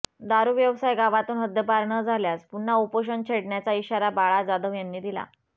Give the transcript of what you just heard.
दारु व्यवसाय गावातून हदद्पार न झाल्यास पुन्हा उपोषण छेडण्याचा इशारा बाळा जाधव यांनी दिला